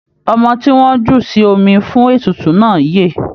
Ọmọ tí wọ́n jù sí omi fún ètùtù náà yè.